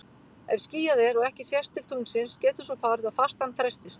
Ef skýjað er og ekki sést til tunglsins getur svo farið að fastan frestist.